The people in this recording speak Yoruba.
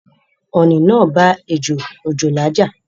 Ọ̀ọ̀nì naa bá ejò òjòlá ja